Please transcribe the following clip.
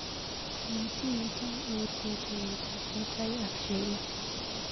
Matimetaa autye tuiyetab mutai ak Sheila.